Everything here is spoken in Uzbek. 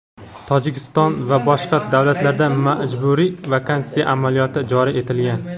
Tojikiston va boshqa davlatlarda majburiy vaksinatsiya amaliyoti joriy etilgan.